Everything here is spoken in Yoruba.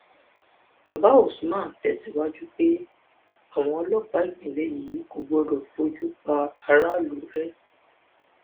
bàbá usman tẹsíwájú pé àwọn ọlọpàá ìpínlẹ yìí kò gbọdọ fojú pa aráàlú rẹ